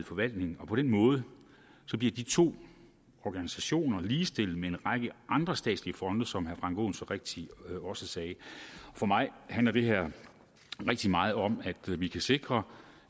forvaltningen og på den måde bliver de to organisationer ligestillet med en række andre statslige fonde som herre frank aaen så rigtigt også sagde for mig handler det her rigtig meget om at vi kan sikre